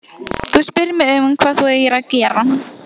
Þú spyrð mig hvað þú eigir að gera.